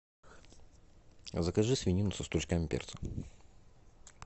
закажи свинину со стручками перца